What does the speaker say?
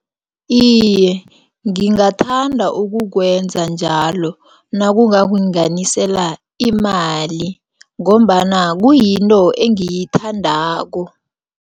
Iye, ngingathanda ukukwenza njalo, nakungakunganisela imali, ngombana kuyinto engiyithandako.